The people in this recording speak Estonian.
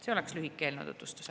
Selline on eelnõu lühike tutvustus.